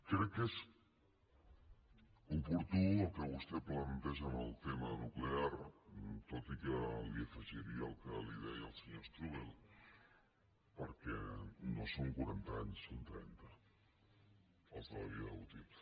crec que és oportú el que vostè planteja en el tema nuclear tot i que li afegiria el que li deia el senyor strubell perquè no són quaranta anys són trenta els de la vida útil